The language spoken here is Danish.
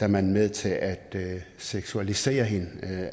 man med til at at seksualisere hende